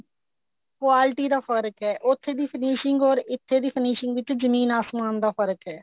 quality ਦਾ ਫਰਕ ਹੈ ਉੱਥੇ ਦੀ finishing or ਇੱਥੇ ਦੀ finishing ਵਿੱਚ ਜਮੀਨ ਆਸਮਾਨ ਦਾ ਫਰਕ਼ ਹੈ